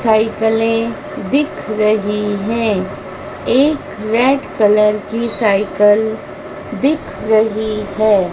साइकलें दिख रही है एक रेड कलर की साइकल दिख रही है।